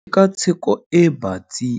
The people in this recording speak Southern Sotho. Tshekatsheko e batsi